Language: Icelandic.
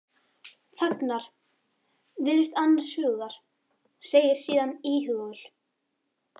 Þagnar, virðist annars hugar, segir síðan íhugul